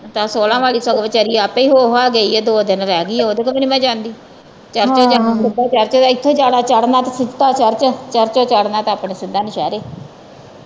ਆ ਸੋਹਲਾ ਵਾਲੀ ਸਗੋਂ ਵਿਚਾਰੀ ਆਪੇ ਹੋ ਹਾ ਗਈ ਆ ਦੋ ਦਿਨ ਰਹਿ ਗਈ ਉਹ ਤੇ ਉਹਦੇ ਤੋਂ ਵੀ ਨਹੀਂ ਮੈ ਜਾਂਦੀ ਜਾਂਦੀ ਤੇ ਸਿੱਧਾ ਇੱਥੋਂ ਜਾਣਾ ਚੜਨਾ ਤੇ ਸਿੱਧਾ ਚਰਚ, ਚਰਚੋ ਚਰਣਾ ਤੇ ਆਪਣੇ ਸਿੱਧਾ ਨੌਸ਼ਹਿਰੇ